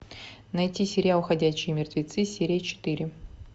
найти сериал ходячие мертвецы серия четыре